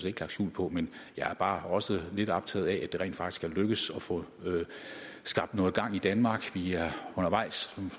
ikke lagt skjul på men jeg er bare også lidt optaget af at det rent faktisk er lykkedes at få skabt noget gang i danmark vi er undervejs